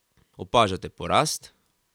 Opažate porast?